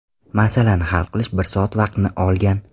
Masalani hal qilish bir soat vaqtni olgan.